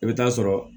I bɛ taa sɔrɔ